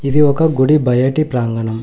ఇది ఒక గుడి బయటి ప్రాంగణం.